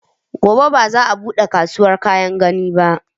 Gobe ba za a buɗe kasuwar kayan gini ba